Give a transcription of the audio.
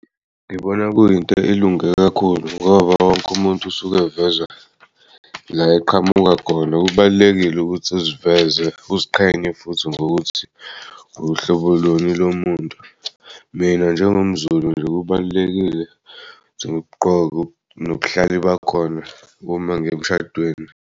Ngibona kuyinto elunge kakhulu ngoba wonk'umuntu usuke'veza la eqhamuka khona kubalulekile ukuthi uziveze uziqhenye futhi ngokuthi uhlobo luni lomuntu mina njengomZulu nje kubalulekile nobuhlalu bakhona uma ngiy'emshadweni.